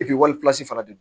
wali fana de don